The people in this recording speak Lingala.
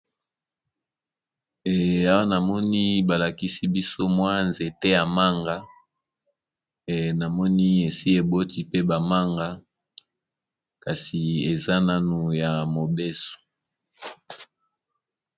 Awa namoni balakisi biso mwa nzete ya manga namoni esi eboti pe bamanga kasi eza nanu ya mobeso.